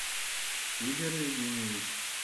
игорь евгеньевич